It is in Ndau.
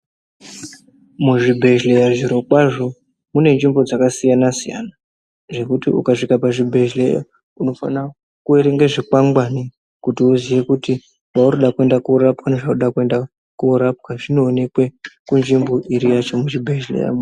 Muzvibhedhleya zvirokwazvo mune nzvimbo dzakasiyana siyana zvekuti ukasvika pazvibhedhleya unofanira kuerenge zvikwangwani kuti uziye kuti mwauri kuda kundorapwa nezvauri kuenda korapwa zvinoonekwe kunzvimbo iri yacho kuchibhedhleya.